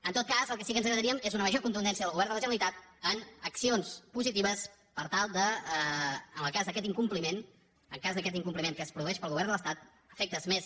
en tot cas el que sí que ens agradaria és una major contundència del govern de la generalitat en accions positives per tal de en el cas d’aquest incompliment en el cas d’aquest incompliment que es produeix pel govern de l’estat a efectes més